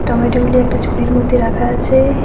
টমেটোগুলি একটা ঝুড়ির মধ্যে রাখা আছে।